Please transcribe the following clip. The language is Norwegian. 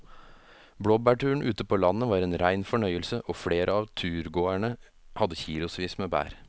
Blåbærturen ute på landet var en rein fornøyelse og flere av turgåerene hadde kilosvis med bær.